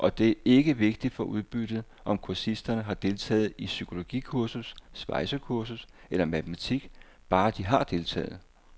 Og det er ikke vigtigt for udbyttet, om kursisterne har deltaget i psykologikursus, svejsekursus eller matematik, bare de har deltaget.